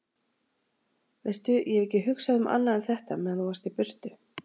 Veistu. ég hef ekki hugsað um annað en þetta meðan þú varst í burtu.